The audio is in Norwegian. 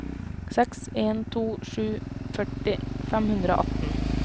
seks en to sju førti fem hundre og atten